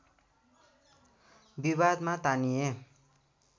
विवादमा तानिए